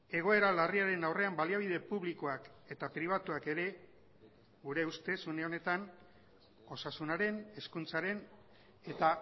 egoera larriaren aurrean baliabide publikoak eta pribatuak ere gure ustez une honetan osasunaren hezkuntzaren eta